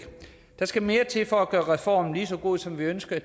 der skal mere til for at gøre reformen lige så god som vi ønskede